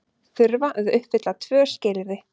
Þurfa að uppfylla tvö skilyrði